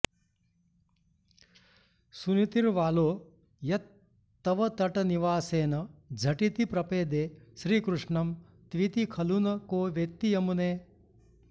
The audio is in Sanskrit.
सुनीतिर्वालो यत्तवतटनिवासेन झटिति प्रपेदे श्रीकृष्णं त्विति खलु न को वेत्ति यमुने